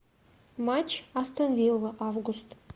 матч астон вилла август